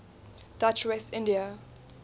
dutch west india